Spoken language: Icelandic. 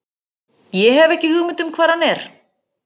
Ég hef ekki hugmynd um hvar hann er.